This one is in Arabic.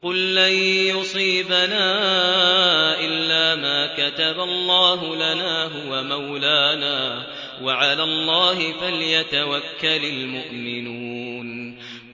قُل لَّن يُصِيبَنَا إِلَّا مَا كَتَبَ اللَّهُ لَنَا هُوَ مَوْلَانَا ۚ وَعَلَى اللَّهِ فَلْيَتَوَكَّلِ الْمُؤْمِنُونَ